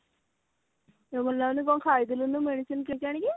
ଦେହ ଭଲ ଲାଗୁନି କଣ ଖାଇ ଦେଲୁନି medicine କିଣିକି ଆଣିକି